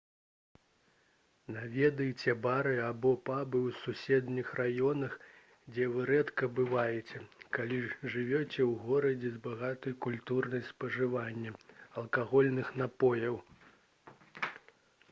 наведайце бары або пабы ў суседніх раёнах дзе вы рэдка бываеце калі жывяце ў горадзе з багатай культурай спажывання алкагольных напояў